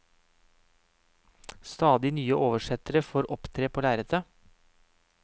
Stadig nye oversettere får opptre på lerretet.